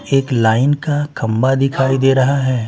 एक लाइन का खंबा दिखाई दे रहा हैं ।